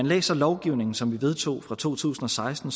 læser lovgivningen som vi vedtog i to tusind og seksten